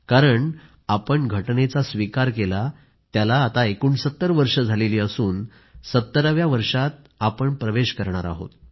कारण आपण राज्यघटनेचा स्वीकार केला त्याला आता 69 वर्ष झाली असून 70 व्या वर्षात प्रवेश करणार आहोत